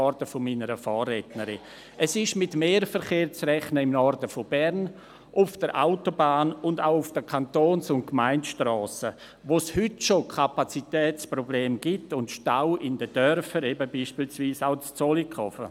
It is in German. Im Norden von Bern ist mit Mehrverkehr zu rechnen, auf der Autobahn, aber auch auf den Kantons- und Gemeindestrassen, wo es bereits heute Kapazitätsprobleme und Staus in den Dörfern gibt, wie zum Beispiel auch in Zollikofen.